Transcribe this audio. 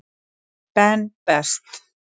Ben Best.